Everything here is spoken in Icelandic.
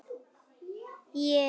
Kannski var það bara forvitni.